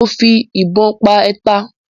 Mo fi ìbon pa ẹtà